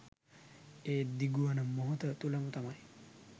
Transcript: ඒ දිගුවන මොහොත තුළම තමයි.